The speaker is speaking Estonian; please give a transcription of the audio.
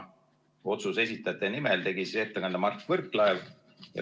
Otsuse esitajate nimel tegi ettekande Mart Võrklaev.